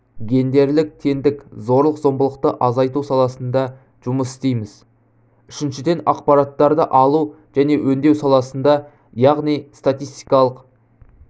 гендерлік теңдік зорлық-зомбылықты азайту саласында жұмыс істейміз үшіншіден ақпараттарды алу және өңдеу саласында яғни статистикалық